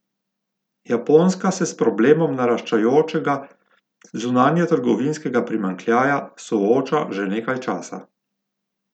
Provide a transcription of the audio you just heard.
Japonska se s problemom naraščajočega zunanjetrgovinskega primanjkljaja sooča že nekaj časa.